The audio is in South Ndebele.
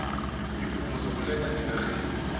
iimvumo zokuletha ngenarheni